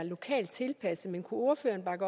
gode